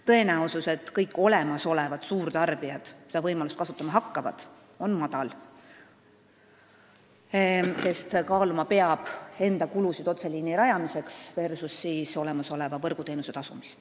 Tõenäosus, et kõik olemasolevad suurtarbijad seda võimalust kasutama hakkavad, on väike, sest kaaluma peab enda kulusid otseliini rajamiseks, võrreldes neid võrguteenusega.